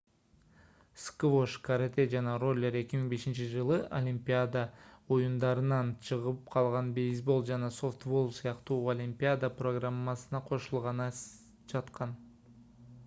сквош карате жана роллер 2005-жылы олимпиада оюндарынан чыгып калган бейсбол жана софтбол сыяктуу олимпиада программасына кошулганы жаткан